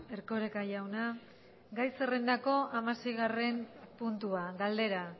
erkoreka jauna gai zerrendako hamaseigarren puntua galdera